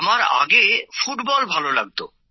আমার আগে ফুটবল ভালো লাগতো